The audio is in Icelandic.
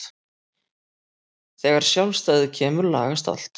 Þegar sjálfstæðið kemur lagast allt.